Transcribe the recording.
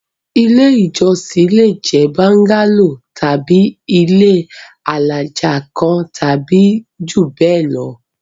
Ilé-ìjọsìn le jẹ́ bóńgálò tàbí ilé alájà kan tàbí jù bẹ́ẹ̀ lọ.